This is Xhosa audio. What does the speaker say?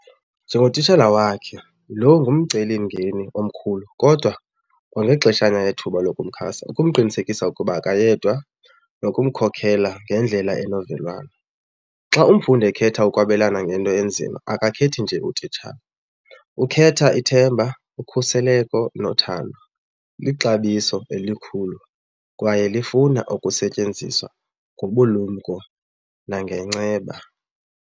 Njengotitshala wakhe, lo ngumcelimngeni omkhulu kodwa kwangexeshana yethuba lokumxhasa ukumqinisekisa ukuba akayedwa nokumkhokelela ngendlela enovelwano. Xa umfundi ekhetha ukwabelana ngento enzima akakhethi nje utitshala ukhetha ithemba, ukhuseleko nothando. Lixabiso elikhulu kwaye lifuna ukusetyenziswa ngobulumko nangenceba.